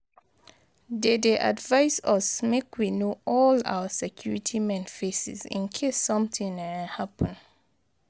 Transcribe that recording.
Dey dey advice us make we know all our security men faces in case something happen.